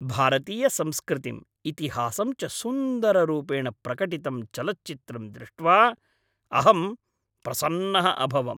भारतीयसंस्कृतिं, इतिहासं च सुन्दररूपेण प्रकटितं चलच्चित्रं दृष्ट्वा अहं प्रसन्नः अभवम्।